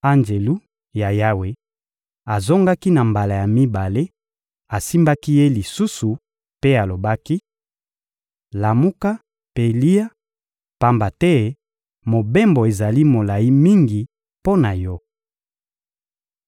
Anjelu ya Yawe azongaki na mbala ya mibale, asimbaki ye lisusu mpe alobaki: — Lamuka mpe lia, pamba te mobembo ezali molayi mingi mpo na yo.